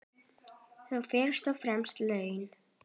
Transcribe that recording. Þá fyrst og fremst laun.